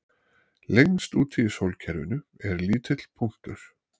Lengst úti í sólkerfinu er lítill punktur